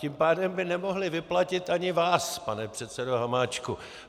Tím pádem by nemohli vyplatit ani vás, pane předsedo Hamáčku.